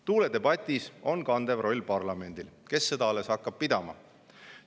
Tuuledebatis on kandev roll parlamendil, kes seda alles hakkab pidama.